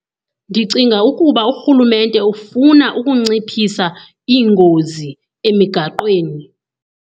Ndicinga ukuba urhulumente ufuna ukunciphisa iingozi emigaqweni.